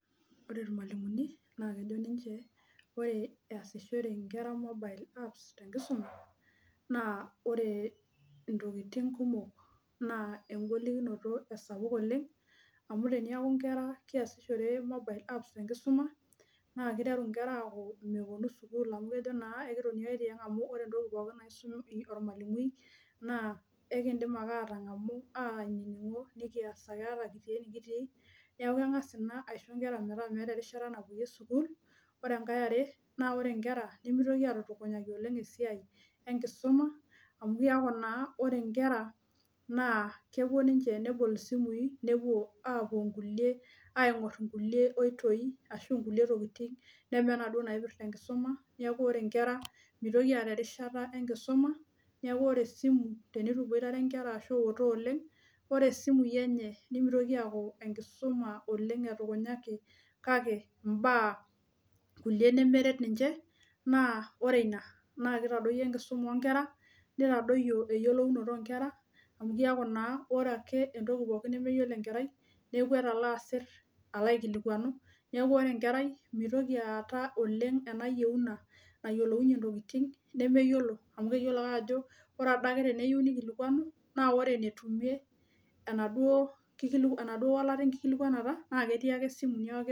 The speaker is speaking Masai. Ore irmalimulini na kejo ninche ore easishore nkera mobile apps tenkisuma na ore ontokitin kumok na enkolikinot esapuk oleng amu tenaku nkera keasishore mobile apps tenkisuma na keaku kejo meponu sukul amu ore ntokitin pookin naisum ormalimui na ekindim ake atangamu ainingo neaku kengasa ina aisho metaa meeta erishata napoyie suku ore enkae na ore nkera nimitoki apunyaki esiai enkisuma amu keaku na or nkera kepuo ninche nebol simui nepuo aingor nkulie koitoi ashu nkulie tokitin namaataa naipirta enkisuma neaku ore nkera mitoki aata erishata enkisumatenituboirare nkera ashu iutaa oleng ore simui enye nimitoki aaku nenkisuma kakebmbaa kulie nemeret ninche ore ina na kitadoyio enkisuma onkera nitadoyio eyioloro onkera amu keaku ore entoki nemeyiolo enkerai nelo amir alaikilikuanu, neaku ore enkerai mitoki aata ena yieuna nayieu neyiolou entoki nemeyiolo amu keyiolo ajo ore adake teneyieu nikilikuanu na ore enetumie na duo wolata enkilikuanata na ketii ake simui.